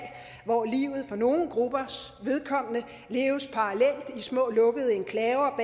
hvor livet for nogle gruppers vedkommende leves parallelt i små lukkede enklaver